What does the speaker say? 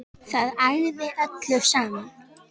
Það ægði öllu saman